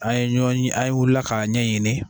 A ye ɲɔn ye, an wulila ka ɲɛ ɲini.